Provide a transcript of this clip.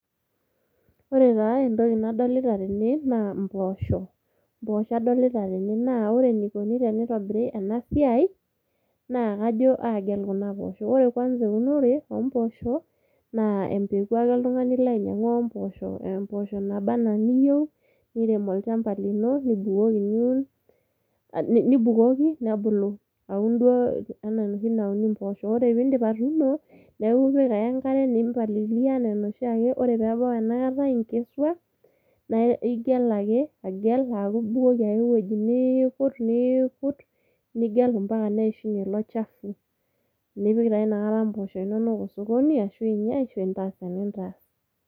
Ore taa entoki nadolita tene, naa impoosho. Impoosho adolita tene. Na ore enikoni tenitobiri enasiai, naa kajo agel kuna poosho. Ore kwanza eunore ompoosho, na empeku ake oltung'ani ilo ainyang'u ompoosho, mpoosho naba enaa niyieu, nirem olchamba lino, nibukoki niun, nibukoki nebulu. Aun duo enaa enoshi nauni mpoosho. Ore piidip atuuno, neeku ipik ake enkare, nimpalilia enaa enoshiake, ore pebau enakata inkesua, na igel ake, agel aku ibukoki ake ewoi, niikur, niikut, nigel mpaka neishunye ilo chafu. Nipik taa nakata mpoosho inonok osokoni, ashu inya ashu intaas enintaas.